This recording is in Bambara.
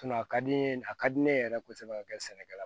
a ka di n ye a ka di ne ye yɛrɛ kosɛbɛ ka kɛ sɛnɛkɛla ye